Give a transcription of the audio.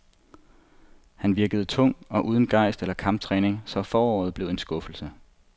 Han virkede tung og uden gejst eller kamptræning, så foråret blev en skuffelse.